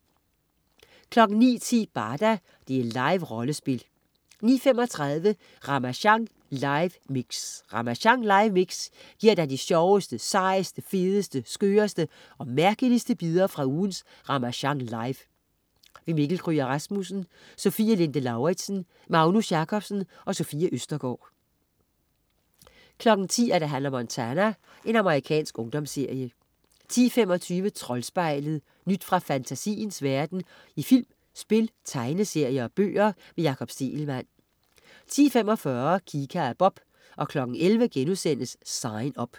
09.10 Barda. Liverollespil 09.35 Ramasjang live mix. Ramasjang live mix giver dig de sjoveste, sejeste, fedeste, skøreste og mærkeligste bidder fra ugens Ramasjang Live. Mikkel Kryger Rasmussen, Sofie Linde Lauridsen, Magnus Jacobsen, Sofie Østergaard 10.00 Hannah Montana. Amerikansk ungdomsserie 10.25 Troldspejlet.. Nyt fra fantasiens verden i film, spil, tegneserier og bøger. Jakob Stegelmann 10.45 Kika og Bob 11.00 Sign Up*